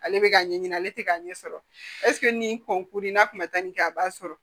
Ale bɛ ka ɲɛɲini ale tɛ k'a ɲɛ sɔrɔ nin kɔnkuruni n'a kun ma taa nin kɛ a b'a sɔrɔ